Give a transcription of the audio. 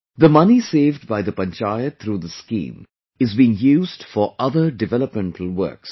The money saved by the Panchayat through this scheme is being used for other developmental works